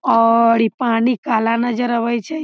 और इ पानी काला नजर आवे छै ।